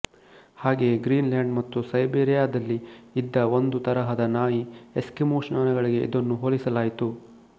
ಹಾಗೆಯೆ Greenland ಮತ್ತು ಸೈಬೀರಿಯಾದಲ್ಲಿ ಇದ್ದ ಒಂದು ತರಹದ ನಾಯಿಎಸ್ಕಿಮೊ ಶ್ವಾನಗಳಿಗೆ ಇದನ್ನು ಹೋಲಿಸಲಾಯಿತು